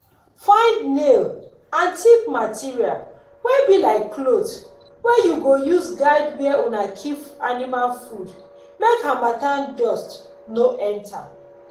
find nail and thick material wey be like cloth wey you go use guide where una keep animal food make harmattan dust no enter.